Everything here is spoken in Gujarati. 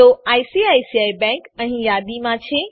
તો આઇસીઆઇસીઆઇ બેંક અહીં યાદીમાં છે